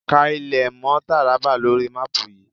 Ká ilé mọ́ Tàrábà lóri máàpù yìí.!